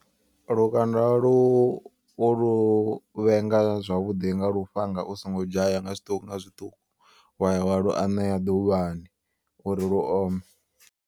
Lukanda lu u lu vhenga zwavhuḓi nga lufhanga u songo dzhaya nga zwiṱuku nga zwiṱuku. Waya wa lu anea ḓuvhani uri lu ome.